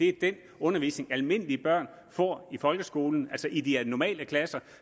er den undervisning almindelige børn får i folkeskolen altså i de normale klasser